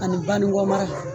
Ani Banikɔ mara